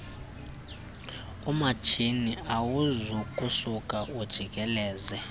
umatshini awuzokusuka ujikeleze